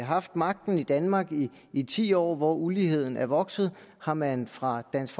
haft magten i danmark i ti år hvor uligheden er vokset har man fra dansk